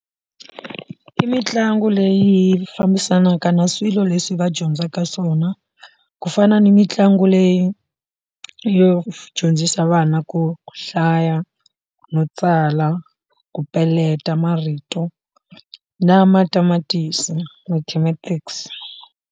I mitlangu leyi fambisanaka na swilo leswi va dyondzaka swona ku fana ni mitlangu leyi yo dyondzisa vana ku hlaya no tsala ku peletela marito na matamatisi mathematics.